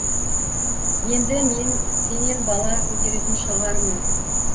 енді мен сенен бала көтеретін шығармын